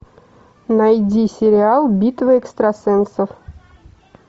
найди сериал битва экстрасенсов